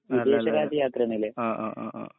ലാ ലാ ല്ല ആ ആ ആ ആ